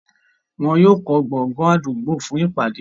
wọ́n yóò kọ́ gbọgán àdúgbò fún ìpàdé.